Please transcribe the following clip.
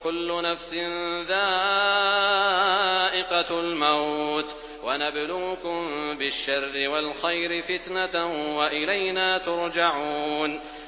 كُلُّ نَفْسٍ ذَائِقَةُ الْمَوْتِ ۗ وَنَبْلُوكُم بِالشَّرِّ وَالْخَيْرِ فِتْنَةً ۖ وَإِلَيْنَا تُرْجَعُونَ